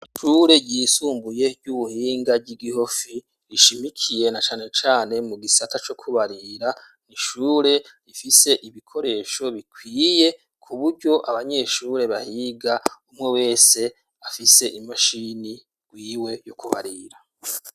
Ishure ryisumbuye, ry'ubuhinga, ry'i Gihofi, rishimikiye na cane cane, mu gisata co kubarira; ni ishure ifise ibikoresho bikwiye, ku buryo abanyeshure bahiga, umwe wese, afise imashini gwiwe yo kubarira.